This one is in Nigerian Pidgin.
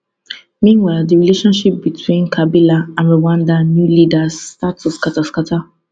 meanwhile di relationship between kabila and rwanda new leaders start to scata scata